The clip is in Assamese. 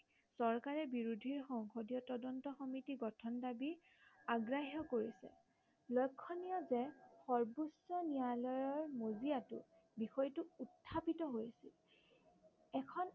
চৰকাৰে বিৰোধীৰ সংসদীয় তদন্ত সমিতি গঠন দাবী অগ্ৰাহ্য় কৰিছে। লক্ষণীয় যে সৰ্ব্বোচ্চ ন্য়ায়ালয়ৰ মজিয়াটো বিষয়টো উত্থাপিত হৈ আহিছে। এখন